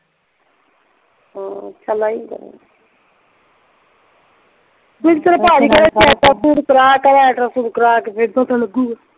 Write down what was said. ਹਮ